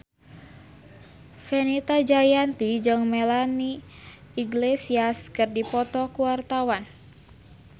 Fenita Jayanti jeung Melanie Iglesias keur dipoto ku wartawan